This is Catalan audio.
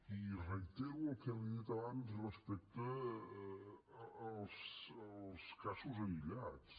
i reitero el que li he dit abans respecte als casos aïllats